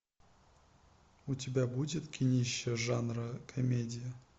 у тебя будет кинище жанра комедия